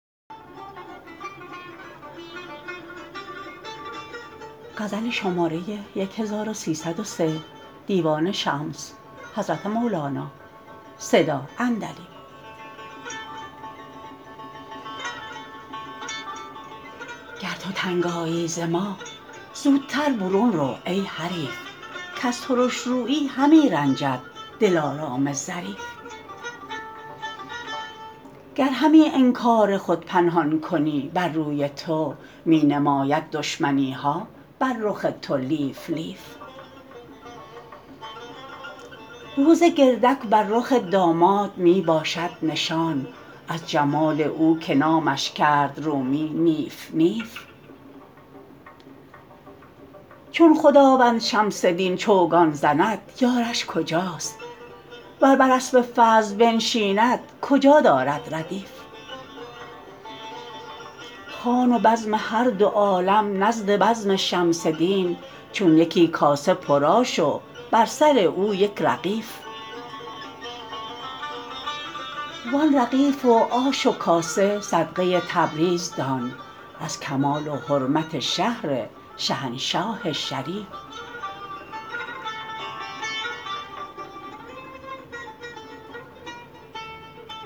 گر تو تنگ آیی ز ما زوتر برون رو ای حریف کز ترش رویی همی رنجد دلارام ظریف گر همی انکار خود پنهان کنی بر روی تو می نماید دشمنی ها بر رخ تو لیف لیف روز گردک بر رخ داماد می باشد نشان از جمال او که نامش کرد رومی نیف نیف چون خداوند شمس دین چوگان زند یارش کجاست ور بر اسب فضل بنشیند کجا دارد ردیف خوان و بزم هر دو عالم نزد بزم شمس دین چون یکی کاسه پرآش و بر سر او یک رغیف وان رغیف و آش و کاسه صدقه تبریز دان از کمال و حرمت شهر شهنشاه شریف